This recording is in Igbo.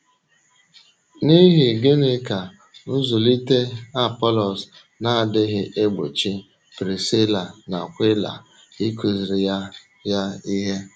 N’íhì gịnị ka nzụ̀lite Apọlọs na-adịghị egbochi Prisíla na Akwịla ịkụziri ya ya ihe?